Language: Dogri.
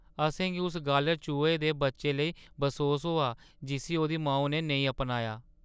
अ'सेंगी उस गालढ़-चूहे दे बच्चे लेई बसोस होआ जिस्सी ओह्दी माऊ ने नेईं अपनाया।